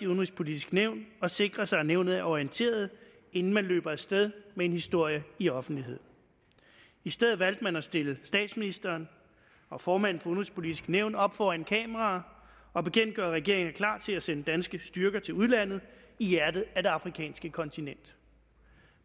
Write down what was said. det udenrigspolitiske nævn og sikre sig at nævnet er orienteret inden man løber af sted med en historie i offentligheden i stedet valgte man at stille statsministeren og formanden for det udenrigspolitiske nævn op foran kameraer og bekendtgøre at regeringen er klar til at sende danske styrker til udlandet i hjertet af det afrikanske kontinent